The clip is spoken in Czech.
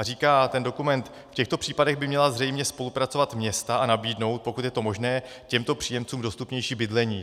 A říká ten dokument: V těchto případech by měla zřejmě spolupracovat města a nabídnout, pokud je to možné, těmto příjemcům dostupnější bydlení.